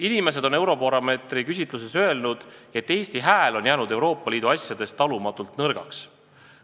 Inimesed on Eurobaromeetri küsitluses öelnud, et Eesti hääl on Euroopa Liidu asjades jäänud talumatult nõrgaks.